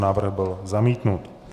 Návrh byl zamítnut.